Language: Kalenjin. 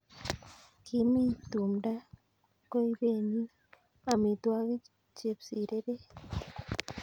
Kimii tumdo koibenin amitwokik chepsireret?